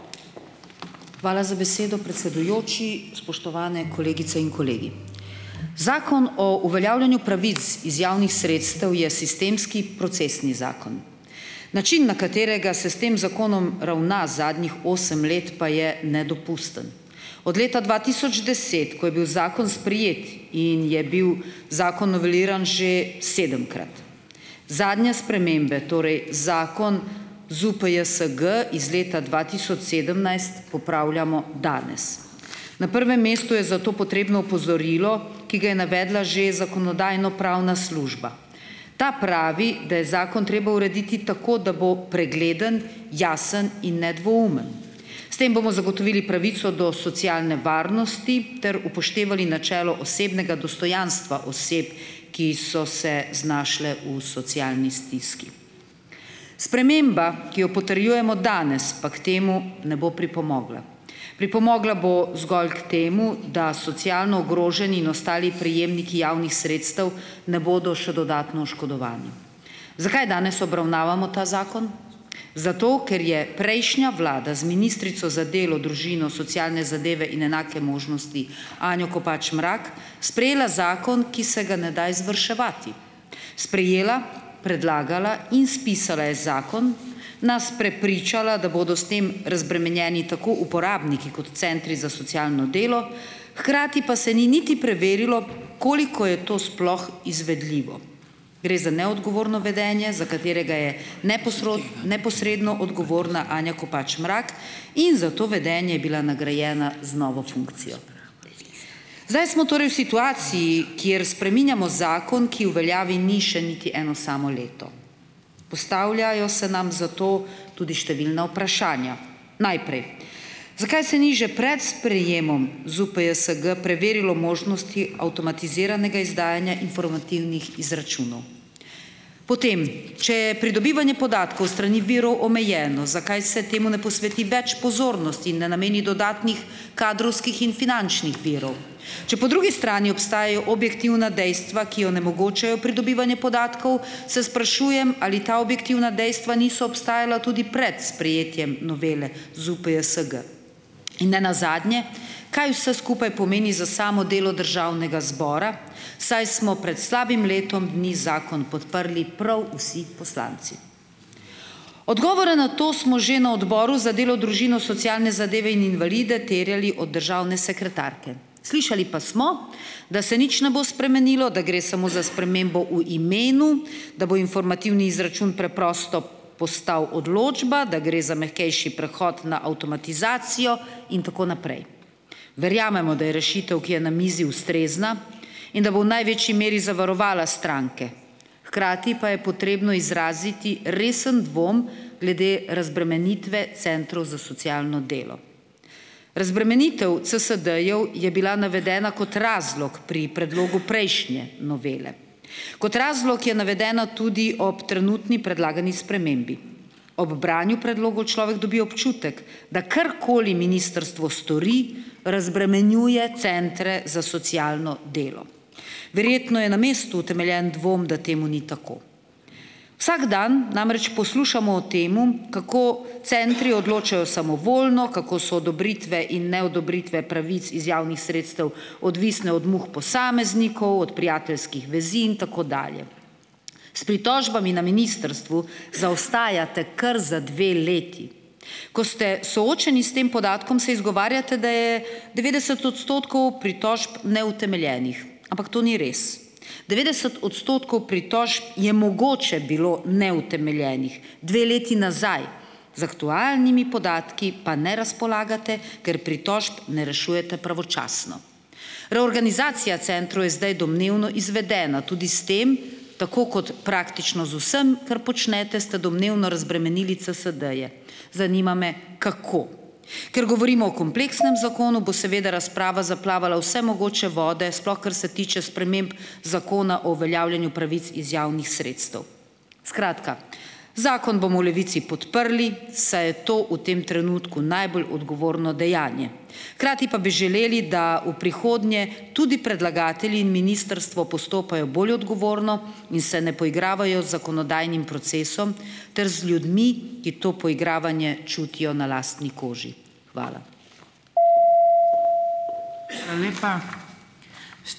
Hvala za besedo, predsedujoči. Spoštovane kolegice in kolegi! Zakon o uveljavljanju pravic iz javnih sredstev je sistemski procesni zakon. Način, na katerega se s tem zakonom ravna zadnjih osem let, pa je nedopusten. Od leta dva tisoč deset, ko je bil zakon sprejet, in je bil zakon noveliran že sedemkrat. Zadnje spremembe, torej zakon ZUPJSG iz leta dva tisoč sedemnajst popravljamo danes. Na prvem mestu je za to potrebno opozorilo, ki ga je navedla že Zakonodajno-pravna služba. Ta pravi, da je zakon treba urediti tako, da bo pregleden, jasen in nedvoumen. S tem bomo zagotovili pravico do socialne varnosti ter upoštevali načelo osebnega dostojanstva oseb, ki so se znašle v socialni stiski. Sprememba, ki jo potrjujemo danes, pa k temu ne bo pripomogla. Pripomogla bo zgolj k temu, da socialno ogroženi in ostali prejemniki javnih sredstev ne bodo še dodatno oškodovani. Zakaj danes obravnavamo ta zakon? Zato, ker je prejšnja Vlada z ministrico za delo, družino, socialne zadeve in enake možnosti Anjo Kopač Mrak, sprejela zakon, ki se ga ne da izvrševati. Sprejela, predlagala in spisala je zakon, nas prepričala, da bodo s tem razbremenjeni tako uporabniki kot centri za socialno delo, hkrati pa se ni niti preverilo, koliko je to sploh izvedljivo. Gre za neodgovorno vedenje, za katerega je neposredno odgovorna Anja Kopač Mrak, in za to vedenje je bila nagrajena z novo funkcijo. Zdaj smo torej v situaciji, kjer spreminjamo zakon, ki v veljavi ni še niti eno samo leto. Postavljajo se nam zato tudi številna vprašanja. Najprej - zakaj se ni že pred sprejemom ZUPJSG preverilo možnosti avtomatiziranega izdajanja informativnih izračunov. Potem. Če je pridobivanje podatkov s strani virov omejeno, zakaj se temu ne posveti več pozornosti in ne nameni dodatnih kadrovskih in finančnih virov. Če po drugi strani obstajajo objektivna dejstva, ki onemogočajo pridobivanje podatkov, se sprašujem, ali ta objektivna dejstva niso obstajala tudi pred sprejetjem novele ZUPJSG. In nenazadnje, kaj vse skupaj pomeni za samo delo Državnega zbora, saj smo prej slabim letom dni zakon podprli prav vsi poslanci. Odgovore na to smo že na Odboru za delo, družino, socialne zadeve in invalide terjali od državne sekretarke. Slišali pa smo, da se nič ne bo spremenilo, da gre samo za spremembo v imenu, da bo informativni izračun preprosto postal odločba, da gre za mehkejši prehod na avtomatizacijo in tako naprej. Verjamemo, da je rešitev, ki je na mizi, ustrezna in da bo v največji meri zavarovala stranke. Hkrati pa je potrebno izraziti resen dvom glede razbremenitve centrov za socialno delo. Razbremenitev CSD-jev je bila navedena kot razlog pri predlogu prejšnje novele. Kot razlog je navedena tudi ob trenutni predlagani spremembi. Ob branju predlogov človek dobi občutek, da karkoli ministrstvo stori, razbremenjuje centre za socialno delo. Verjetno je na mestu utemeljen dvom, da temu ni tako. Vsak dan namreč poslušamo o tem, kako centri odločajo samovoljno, kako so odobritve in neodobritve pravic iz javnih sredstev odvisne od muh posameznikov, od prijateljskih vezi in tako dalje. S pritožbami na ministrstvu zaostajate kar za dve leti. Ko ste soočeni s tem podatkom, se izgovarjate, da je devetdeset odstotkov pritožb neutemeljenih. Ampak to ni res. Devetdeset odstotkov pritožb je mogoče bilo neutemeljenih. Dve leti nazaj. Z aktualnimi podatki pa ne razpolagate, ker pritožb ne rešujete pravočasno. Reorganizacija centrov je zdaj domnevno izvedena. Tudi s tem, tako kot praktično z vsem, kar počnete, ste domnevno razbremenili CSD-je. Zanima me, kako. Ker govorimo o kompleksnem zakonu, bo seveda razprava zaplavala v vse mogoče vode, sploh kar se tiče sprememb Zakona o uveljavljanju pravic iz javnih sredstev. Skratka, zakon bomo v Levici podprli, saj je to v tem trenutku najbolj odgovorno dejanje. Hkrati pa bi želeli, da v prihodnje tudi predlagatelji in ministrstvo postopajo bolje odgovorno in se ne poigravajo z zakonodajnim procesom ter z ljudmi, ki to poigravanje čutijo na lastni koži. Hvala.